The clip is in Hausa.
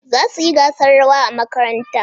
Za su yi gasar rawa a makaranta